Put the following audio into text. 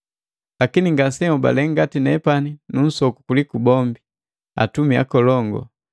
Lakini ngasenhobale ngati nepani nu nsoku kuliku bombi, “Atumi akolongu.”